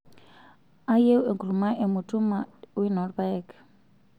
ayieu enkurma emutuma weno peaek